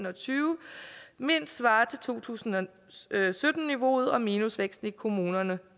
og tyve mindst svarer til to tusind og sytten niveauet og minusvæksten i kommunerne